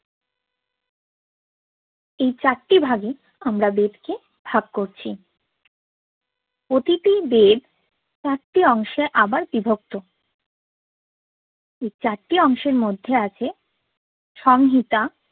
এই চারটি ভাগে আমরা বেদকে ভাগ করছি প্রতিটি বেদ চারটি অংশে আবার বিভিক্ত এই চারটি অংশের মধ্যে আছে সংহিতা